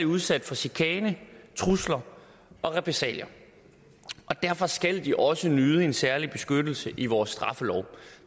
udsat for chikane trusler og repressalier derfor skal de også nyde en særlig beskyttelse i vores straffelov og